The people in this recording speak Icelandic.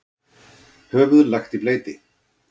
Höfuð lagt í bleyti.